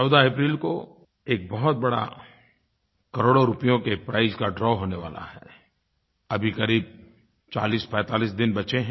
14 अप्रैल को एक बहुत बड़ा करोड़ों रुपयों के प्राइज का द्रव होने वाला है अभी क़रीब चालीसपैंतालीस दिन बचे हैं